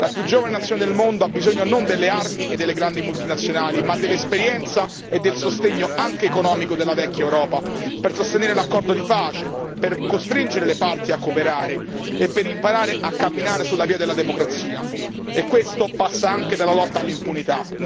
La più giovane nazione del mondo ha bisogno non delle armi e delle grandi multinazionali, ma dell'esperienza e del sostegno, anche economico, della vecchia Europa per sostenere l'accordo di pace, per costringere le parti a cooperare e per imparare a camminare sulla via della democrazia, e questo passa anche dalla lotta all'impunità.